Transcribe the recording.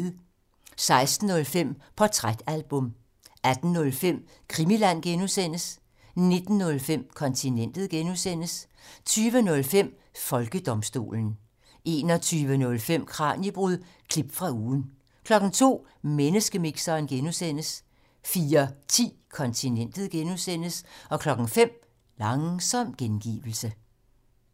16:05: Portrætalbum 18:05: Krimiland (G) 19:05: Kontinentet (G) 20:05: Folkedomstolen 21:05: Kraniebrud – klip fra ugen 02:00: Menneskemixeren (G) 04:10: Kontinentet (G) 05:00: Langsom gengivelse